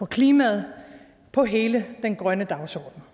klimaet og hele den grønne dagsorden